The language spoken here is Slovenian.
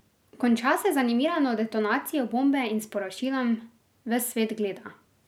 Končna se z animirano detonacijo bombe in sporočilom: "Ves svet gleda.